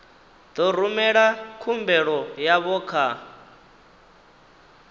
ḓo rumela khumbelo yavho kha